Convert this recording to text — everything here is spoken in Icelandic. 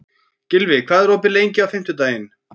Gylfi, hvað er opið lengi á fimmtudaginn?